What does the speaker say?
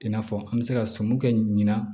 I n'a fɔ an bɛ se ka sɔmi kɛ ɲina